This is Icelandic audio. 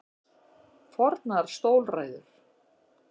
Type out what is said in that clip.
Fornar stólræður.